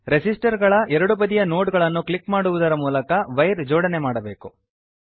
resistor ಗಳ ಎರಡು ಬದಿಯ ನೋಡ್ ಗಳನ್ನು ಕ್ಲಿಕ್ ಮಾಡುವುದರ ಮೂಲಕ ವೈರ್ ಜೋಡಣೆ ಮಾಡಬೇಕು